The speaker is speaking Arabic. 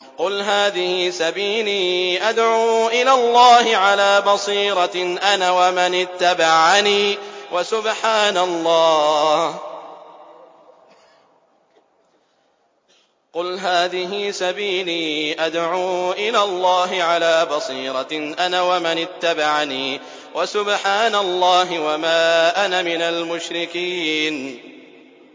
قُلْ هَٰذِهِ سَبِيلِي أَدْعُو إِلَى اللَّهِ ۚ عَلَىٰ بَصِيرَةٍ أَنَا وَمَنِ اتَّبَعَنِي ۖ وَسُبْحَانَ اللَّهِ وَمَا أَنَا مِنَ الْمُشْرِكِينَ